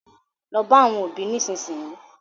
Lọ bá àwọn òbí nísìnyìí.